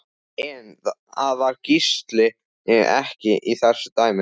En það var Gísli ekki í þessu dæmi.